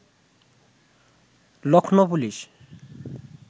Lucknow police